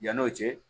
Yann'o cɛ